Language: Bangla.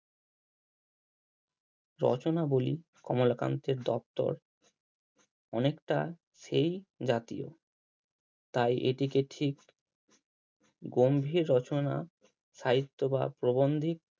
রচনাবলি কমলাকান্তের দপ্তর অনেকটা সেই জাতীয় তাই এটিকে ঠিক গম্ভীর রচনা সাহিত্য বা প্রবন্ধিক